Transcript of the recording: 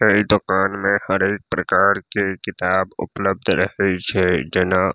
ए दुकान में हर एक प्रकार के किताब उपलब्ध रहे छै जेना --